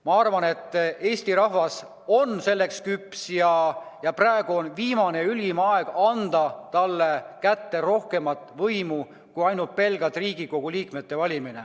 Ma arvan, et Eesti rahvas on selleks küps ja praegu on ülim aeg anda talle kätte rohkem võimu kui ainult Riigikogu liikmete valimine.